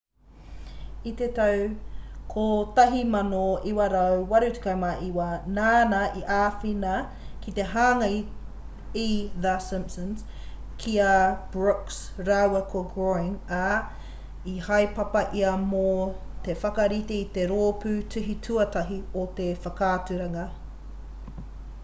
i te tau 1989 nāna i āwhina ki te hanga i the simpsons ki a brooks rāua ko groening ā i haepapa ia mō te whakarite i te rōpū tuhi tuatahi o te whakaaturanga